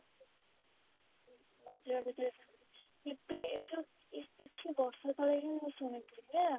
ଯଦି କେବେ ଏଇ ଯଉ କିଛି ବର୍ଷ ତଳେ ହିଁ ମୁଁ ଶୁଣିଥିଲି ପରା